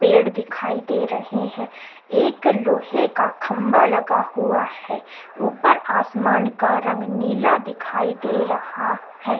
पेड़ दिखाई दे रहे हैं एक लोहे का खम्बा लगा हुआ है ऊपर आसमान का रंग नीला दिखाई दे रहा है।